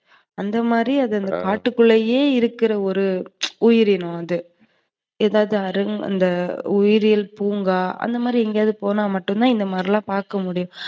அந்தமாதிரி அது காட்டுக்குலையே இருக்குற ஒரு உயிரினம் அது. எதாவது அந்த உயிரியல் பூங்கா, எங்கையாது போனா மட்டும்தான் இந்தமாதிரி பாக்கமுடியும்.